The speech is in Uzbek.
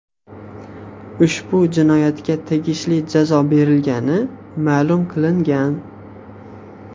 Ushbu jinoyatga tegishli jazo berilgani ma’lum qilingan.